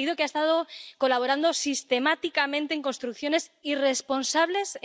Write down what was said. un partido que ha estado colaborando sistemáticamente en construcciones irresponsables,